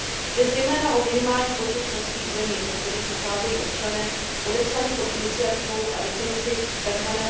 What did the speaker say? Jde zejména o minimální počet členských zemí, ze kterých pocházejí občané podepsaní pod iniciativou, a definici tzv.